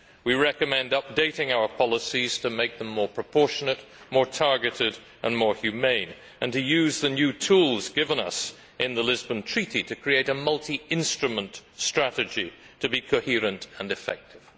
We recommend updating our policies to make them more proportionate, more targeted and more humane, and to use the new tools given us in the Lisbon Treaty to create a multi instrument strategy to be coherent and effective.